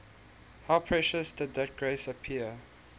how precious did that grace appear